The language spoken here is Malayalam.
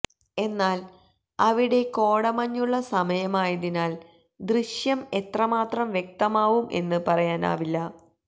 എന്നാല് അവിടെ കോടമഞ്ഞുള്ള സമയമായതിനാല് ദൃശ്യം എത്രമാത്രം വ്യക്തമാവും എന്ന് പറയാനാവില്ല